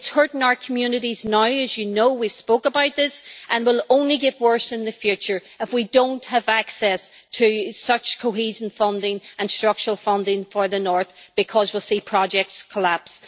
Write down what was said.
It is hurting our communities now as you know, we spoke about this, and it will only get worse in the future if we do not have access to such cohesion funding and structural funding for the north, because we will see projects collapse.